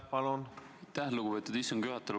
Aitäh, lugupeetud istungi juhataja!